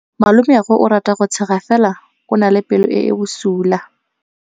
Malomagwe o rata go tshega fela o na le pelo e e bosula.